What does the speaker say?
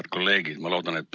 Head kolleegid!